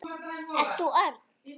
Ert þú Örn?